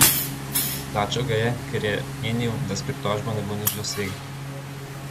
Plačal ga je, ker je menil, da s pritožbo ne bi nič dosegel.